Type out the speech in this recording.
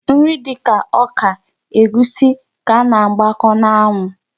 Nri dịka ọka, egwusi ka a na-agbakọ n'anwụ.